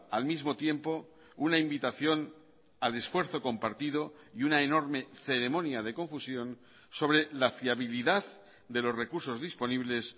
al mismo tiempo una invitación al esfuerzo compartido y una enorme ceremonia de confusión sobre la fiabilidad de los recursos disponibles